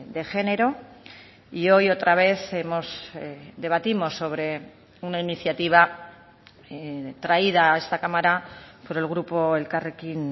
de género y hoy otra vez debatimos sobre una iniciativa traída a esta cámara por el grupo elkarrekin